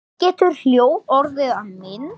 Getur hljóð orðið að mynd?